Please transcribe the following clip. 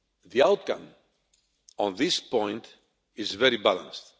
The outcome on this point is very balanced.